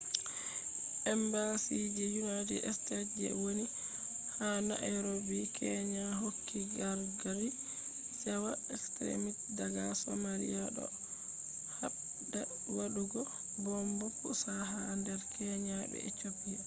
embassy je united states je woni ha nairobi kenya hokki gargadi cewa extrimist daga somalia” do habda wadugo bomb pusa ha nder kenya be ethiopia